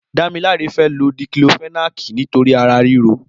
Damilola fè ló diklófẹ̀nákí nitóri àrá rìró